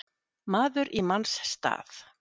Maður í manns stað